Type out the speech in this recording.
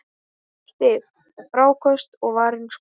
Stig, fráköst og varin skot